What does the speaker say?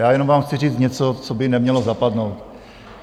Já jenom vám chci říct něco, co by nemělo zapadnout.